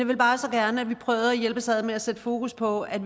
vil bare så gerne at vi prøvede at hjælpes ad med at sætte fokus på at